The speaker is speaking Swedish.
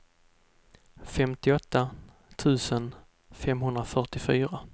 femtioåtta tusen femhundrafyrtiofyra